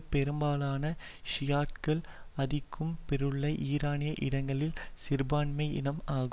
பெரும்பாலான ஷியாட்டுக்கள் ஆதிக்கம் பெற்றுள்ள ஈரானிய இடங்களில் சிறுபான்மை இனம் ஆகும்